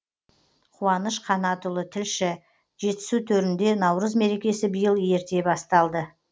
қуаныш қанатұлы тілші жетісу төрінде наурыз мерекесі биыл ерте басталды